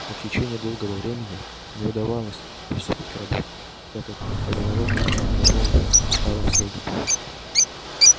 но в течение долгого времени не удавалось приступить к работе так как каменоломня была заполнена талым снегом